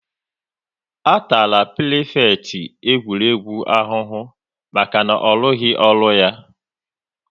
A tara prifekịtị egwuregwu ahụhụ maka na ọ rụghị ọrụ ya